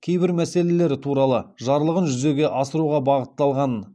кейбір мәселелері туралы жарлығын жүзеге асыруға бағытталғанын